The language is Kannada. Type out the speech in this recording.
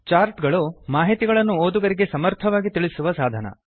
ಚಾರ್ಟ್ ಗಳು ಮಾಹಿತಿಗಳನ್ನು ಓದುಗರಿಗೆ ಸಮರ್ಥವಾಗಿ ತಿಳಿಸುವ ಸಾಧನ